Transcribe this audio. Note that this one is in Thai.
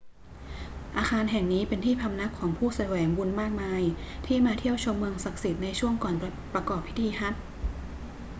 อาคารแห่งนี้เป็นที่พำนักของผู้แสวงบุญมากมายที่มาเที่ยวชมเมืองศักดิ์สิทธิ์ในช่วงก่อนประกอบพิธีฮัจญ์